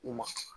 U ma